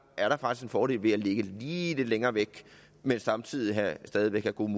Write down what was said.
er der faktisk en fordel ved at ligge lige lidt længere væk men samtidig stadig væk have gode